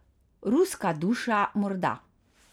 Ruska duša morda.